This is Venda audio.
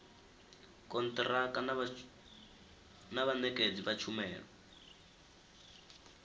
kontiraka na vhanekedzi vha tshumelo